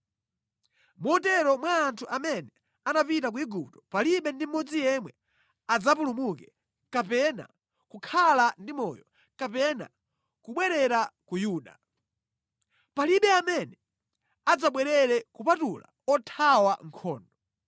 Motero mwa anthu amene anapita ku Igupto palibe ndi mmodzi yemwe adzapulumuke, kapena kukhala ndi moyo, kapena kubwerera ku Yuda. Palibe amene adzabwerere kupatula othawa nkhondo.’ ”